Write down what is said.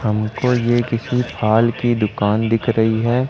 हमको ये किसी फाल की दुकान दिख रही है।